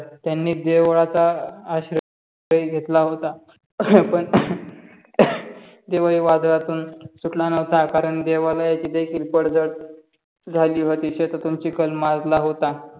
त्यांनी देवळाचा आशीर्वाद घेतला होता, पण देवही वादलातून सुटला नव्हता कारण देवाला याची देखील पडझड झाली होते. शेतातून चिखल मजला होता.